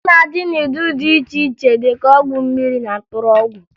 Ọgwụ na-adị n'ụdị dị iche iche dịka ọgwụ mmiri na mkpụrụ ọgwụ